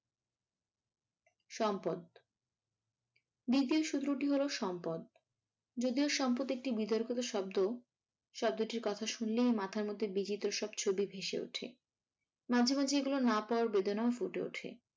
সম্পদ। দ্বিতীয় সূত্রটি হলো সম্পদ। যদিও সম্পদ একটি বিতর্কিত শব্দ। শব্দটির কথা শুনলেই মাথার মধ্যে বিজীত সব ছবি ভেসে ওঠে মাঝে মাঝে এইগুলো না পাওয়ার বেদনাও ফুটে ওঠে।